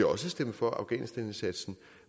også stemme for afghanistanindsatsen